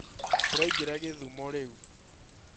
Turaingĩra gĩthumo rĩu